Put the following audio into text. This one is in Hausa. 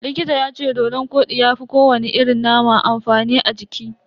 Likita yace dodon kodi ya fi ko wani irin nama amfani a jiki.